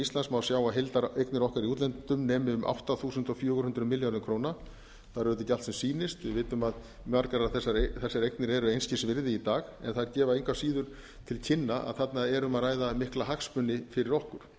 íslands má sjá að heildareignir okkar í útlöndum nemi um átta þúsund fjögur hundruð milljörðum króna það er auðvitað ekki allt sem sýnist við vitum að margar þessar eignir eru einskis virði í dag en þær gefa engu að síður til kynna að þarna er um að ræða mikla hagsmuni fyrir okkur